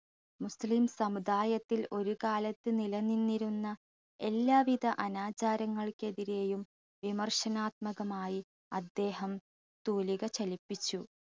മുസ്ലിം സമുദായത്തിൽ ഒരുകാലത്ത് നിലനിന്നിരുന്ന എല്ലാവിധ അനാചാരങ്ങൾക്കെതിരെയും വിമർശനാത്മകമായി അദ്ദേഹം തൂലിക ചലിപ്പിച്ചു